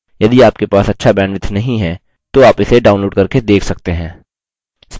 यदि आपके पास अच्छा bandwidth नहीं है तो आप इसे download करके देख सकते हैं